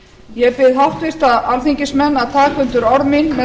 ég bið háttvirta alþingismenn að taka undir orð mín með